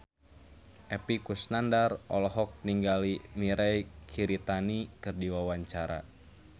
Epy Kusnandar olohok ningali Mirei Kiritani keur diwawancara